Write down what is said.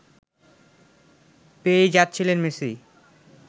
পেয়েই যাচ্ছিলেন মেসি